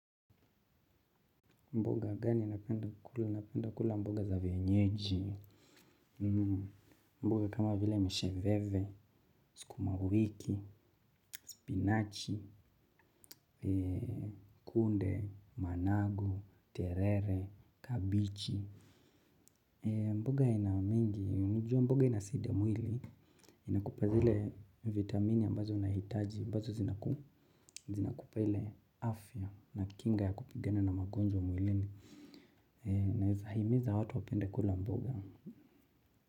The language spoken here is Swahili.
Mboga gani ninapenda kula, ninapenda kula mboga za vienyeji, mboga kama vile msheveve, sukumawiki, spinachi, kunde, manago, terere, kabichi. Mboga inamingi, unajua mboga inasaidia mwili, inakupa zile vitamini ambazo unahitaji, ambazo zinakupa ile afya na kinga ya kupigana na magonjwa mwilini. Naweza himiza watu wapende kula mboga.